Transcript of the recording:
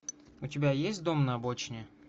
у тебя есть дом на обочине